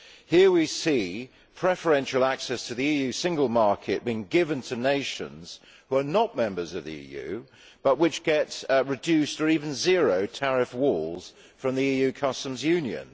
Here we see preferential access to the EU single market being given to nations which are not members of the EU but which get reduced or even zero tariff walls from the EU customs union.